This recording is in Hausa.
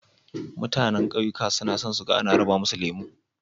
Mutanan ƙauyuka suna son su ga ana raba musu lemo.